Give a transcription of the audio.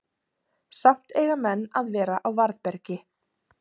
samt eiga menn að vera á varðbergi